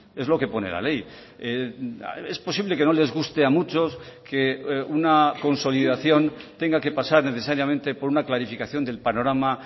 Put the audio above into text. es lo que pone la ley es posible que no les guste a muchos que una consolidación tenga que pasar necesariamente por una clarificación del panorama